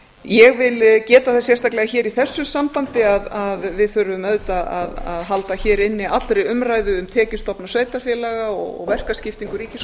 ég vil geta þess sérstaklega hér í þessu sambandi að við þurfum auðvitað að halda hér inni allri umræðu um tekjustofna sveitarfélaga og verkaskiptingu ríkis og